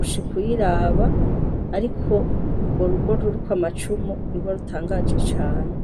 usha ikuiraba, ariko urwo rugo ruriko amacumu nirwa rutangaje cane.